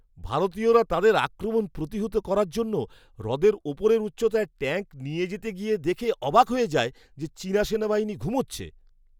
ভারতীয়রা তাদের আক্রমণ প্রতিহত করার জন্য হ্রদের ওপরের উচ্চতায় ট্যাঙ্ক নিয়ে যেতে গিয়ে দেখে অবাক হয়ে যায় যে চীনা সেনাবাহিনী ঘুমোচ্ছে!